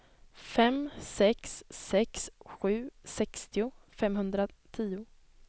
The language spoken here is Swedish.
fem sex sex sju sextio femhundratio